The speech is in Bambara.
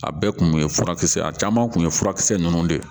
A bɛɛ kun ye furakisɛ a caman kun ye furakisɛ ninnu de ye